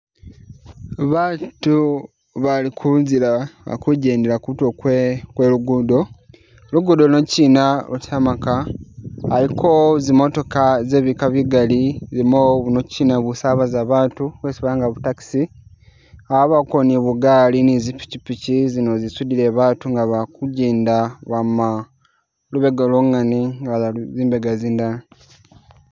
Batu bali kunzila bakugendela kutulo kwe lugudo, lugudo lunokyina lwa tarmac, waliko zimotoka zebika bigali, ilimo bunokyina busabaza batu bwesi balanga bu taxi, abako ni bugaali ni zipichipichi zino zisudile batu nga bakugenda kwama lubega lwongane nga baza zimbega zindala.